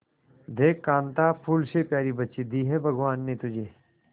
देख कांता फूल से प्यारी बच्ची दी है भगवान ने तुझे